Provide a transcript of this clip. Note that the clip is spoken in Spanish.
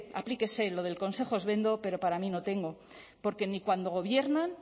aplíquese lo de consejos vendo pero para mí no tengo porque ni cuando gobiernan